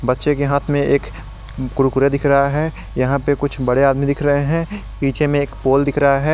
बच्चे के हाथ में एक कुरकुरे दिख रहा है यहां पे कुछ बड़े आदमी दिख रहे हैं पीछे में एक पोल दिख रहा है।